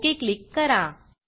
okay click करा